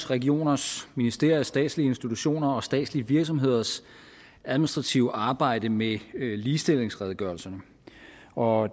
regioners ministeriers og statslige institutioners og statslige virksomheders administrative arbejde med ligestillingsredegørelserne og